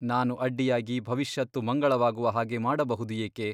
ನಾನು ಅಡ್ಡಿಯಾಗಿ ಭವಿಷ್ಯತ್ತು ಮಂಗಳವಾಗುವ ಹಾಗೆ ಮಾಡಬಹುದು ಏಕೆ?